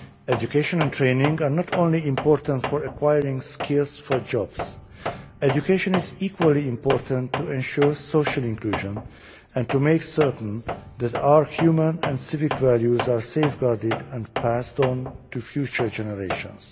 Education and training are not only important for acquiring skills for jobs education is equally important to ensure social inclusion and to make certain that our human and civic values are safeguarded and passed on to future generations.